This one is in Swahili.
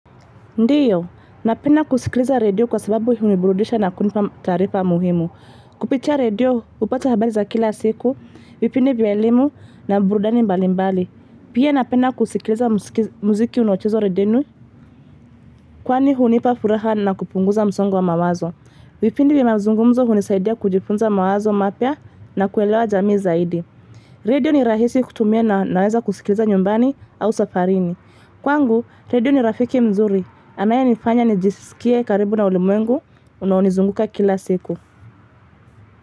Ndiyo, napenda kusikiliza radio kwa sababu uniburudisha na kunipa taarifa muhimu. Kupitia radio upata habali za kila siku, vipindi vya elimu na burudani mbali mbali. Pia napenda kusikiliza muziki unaochewa redenu, kwani hunipa furaha na kupunguza msongo wa mawazo. Vipindi vya mazungumzo hunisaidia kujifunza mawazo mapya na kuelewa jamii zaidi. Radio ni rahisi kutumia na naweza kusikiliza nyumbani au safarini. Kwa ngu, Redio ni Rafiki mzuri. Anaye nifanya nijisikie karibu na ulimwengu. Unaonizunguka kila siku.